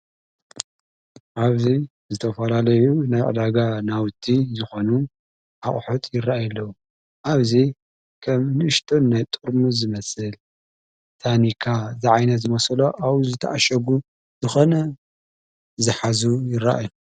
ኣብዙይ ዝተፈልለዩ ናይ ኣዕዳጋ ናውቲ ይኾኑ ኣቝሑት ይረይ የለዉ ኣብዙይ ኸም ንእሽቶን ናይ ጥርሚ ዝመስል ታኒካ ዝዓይነ ዝመሰሎ ኣዉ ዝተኣሸጉ ዝኾነ ዝኃዙ ይረአ።